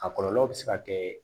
A kɔlɔlɔ bɛ se ka kɛ